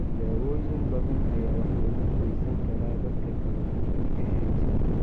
Daawooyin badan ayaa waxyeelo u geysan kara dadka qaba PAH.